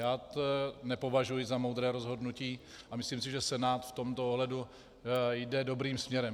Já to nepovažuji za moudré rozhodnutí a myslím si, že Senát v tomto ohledu jde dobrým směrem.